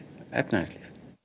efnahagslíf